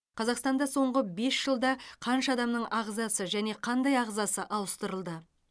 қазақстанда соңғы бес жылда қанша адамның ағзасы және қандай ағзасы ауыстырылды